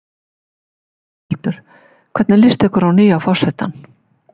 Þórhildur: Hvernig líst ykkur á nýja forsetann?